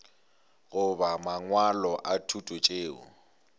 goba mangwalo a thuto tšeo